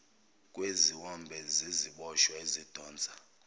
kweziwombe zeziboshwa ezidonsa